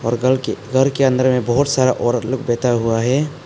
घर के अंदर में बहुत सारा औरत लोग बैठा हुआ है।